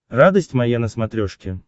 радость моя на смотрешке